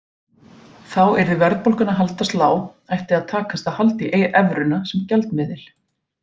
Þá yrði verðbólgan að haldast lág ætti að takast að halda í evruna sem gjaldmiðil.